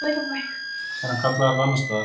Er hann kallaður þetta annars staðar?